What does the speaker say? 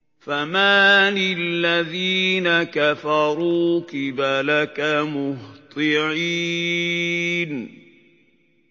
فَمَالِ الَّذِينَ كَفَرُوا قِبَلَكَ مُهْطِعِينَ